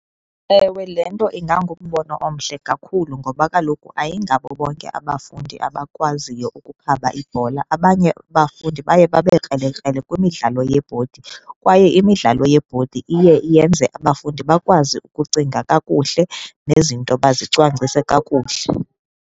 Ewe, lee nto ingangumbono omhle kakhulu ngoba kaloku ayingabo bonke abafundi abakwaziyo ukukhaba ibhola. Abanye abafundi baye babe krelekrele kwimidlalo yebhodi, kwaye imidlalo yebhodi iye yenze abafundi bakwazi ukucinga kakuhle nezinto bazicwangcise kakuhle.